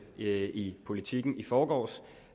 i i politiken i forgårs